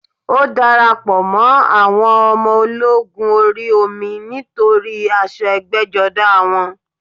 Ó darapọ̀ mọ́ àwọn ọmọ ológun orí omi nítorí aṣọ ẹgbẹ́jọdá wọn